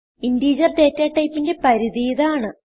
integer data typeന്റെ പരിധി ഇതാണ്